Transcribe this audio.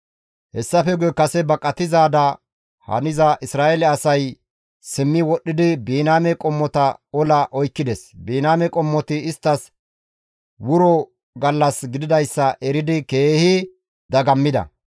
Hessafe guye kase baqatizaada haniza Isra7eele asay simmi wodhdhidi Biniyaame qommota ola oykkides; Biniyaame qommoti isttas wuro gallas gididayssa eridi keehi dagammida.